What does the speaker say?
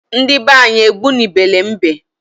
Ndi banyi egbu ni bele mbe